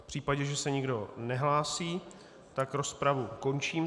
V případě, že se nikdo nehlásí, tak rozpravu končím.